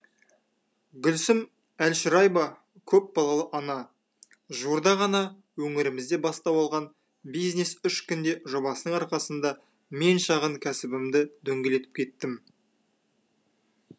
гүлсім әлшораева көпбалалы ана жуырда ғана өңірімізде бастау алған бизнес үш күнде жобасының арқасында мен шағын кәсібімді дөңгелетіп кеттім